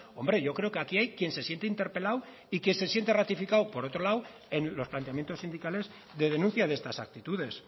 hombre yo creo que aquí hay quien se siente interpelado y que se siente ratificado por otro lado en los planteamientos sindicales de denuncia de estas actitudes